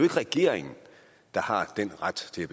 regeringen der har den ret til